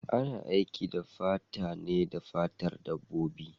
Ana aiki fata ne da fatar dabbobi.